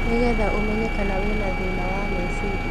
Nĩgetha ũmenye kana wĩ na thĩna wa meciria